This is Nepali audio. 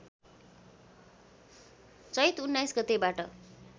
चैत १९ गतेबाट